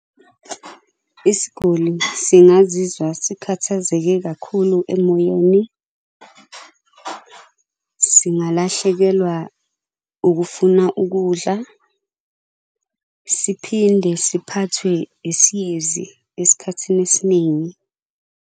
Isiguli singaziwa sikhathazeke kakhulu emoyeni. Singalahlekelwa ukufuna ukudla, siphinde siphathwe isiyezi esikhathini esiningi.